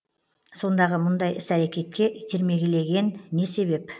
сондағы мұндай іс әрекетке итермелеген не себеп